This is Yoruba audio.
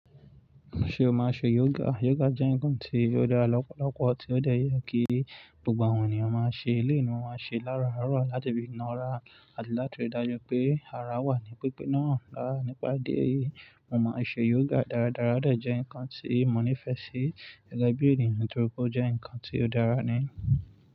Ṣé o máa ń ṣe yógà? Yógà jẹ́ nǹkan tí ó dára lọ́pọ̀lọpọ̀ tí ó dè ye kí gbogbo àwọn ènìyàn máa ṣe. Eléyìí ni mo màa ṣe lára àárọ̀ láti fi na'ra. À ti láti ríi dájú pé ara wà ní pípé náà. Nípa ìdí èyí, mo máa n ṣe yógà dáradára, ó dè jé ǹkan tí mo nífẹ̀ẹ́ sí gẹ́gẹ́ bí ènìyàn nítorí pé ó jẹ́ nǹkan tí ó dára ni.